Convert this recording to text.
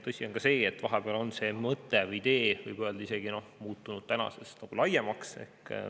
Tõsi on ka see, et vahepeal on see mõte, võib öelda, muutunud tänase isegi laiemaks.